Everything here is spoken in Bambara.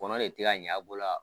Kɔnɔ de ti ka ɲ'a bolo ?